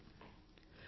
ధన్యవాదాలు